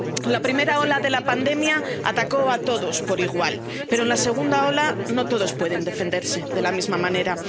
La primera ola de la pandemia atacó a todos por igual, pero en la segunda ola no todos pueden defenderse de la misma manera.